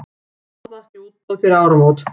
Ráðast í útboð fyrir áramót